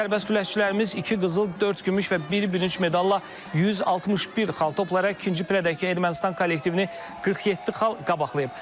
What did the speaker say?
Sərbəst güləşçilərimiz iki qızıl, dörd gümüş və bir bürünc medalla 161 xal toplayaraq ikinci pillədəki Ermənistan kollektivini 47 xal qabaqlayıb.